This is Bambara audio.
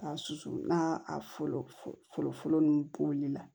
K'a susu n'a fɔlɔ fɔlɔ nunnu bɔli la